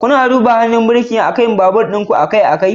Kuna duba yanayin hannun birkin akan babur ɗin ku akai-akai?